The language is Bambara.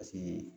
Paseke